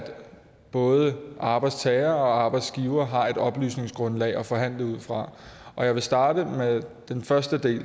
både arbejdstager og arbejdsgiver har et oplysningsgrundlag at forhandle ud fra og jeg vil starte med den første del